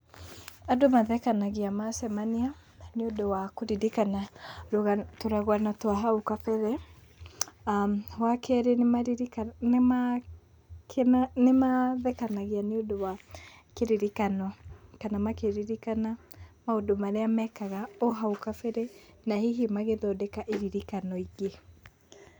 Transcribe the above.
Andũ mathekanagia macemania, nĩ ũndũ wa kũririkana tũrũgano twa hau kabere. Wa keerĩ nĩ maririkanaga, nĩ mathekanagia nĩ ũndũ wa kĩririkano kana makĩririkana maũndũ marĩa mekaga o hau kabere, na hihi magĩthondeka iririkano ingĩ.